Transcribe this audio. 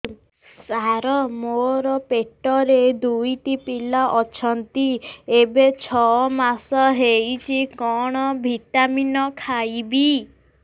ସାର ମୋର ପେଟରେ ଦୁଇଟି ପିଲା ଅଛନ୍ତି ଏବେ ଛଅ ମାସ ହେଇଛି କଣ ଭିଟାମିନ ଖାଇବି